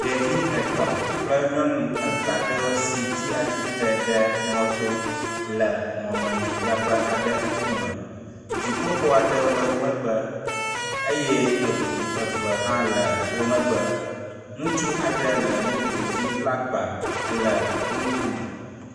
Ɖevi etɔ̃ kple nyɔnu eve aɖewo si tsi atsitre ɖe mɔto le mɔmemidzraƒe aɖe ŋkume. Dziƒoxɔ aɖewo le wo megbe eye eŋu eve hã le wo megbe. Ŋutsu aɖe le moto dzi bla agba ele wo ŋkume.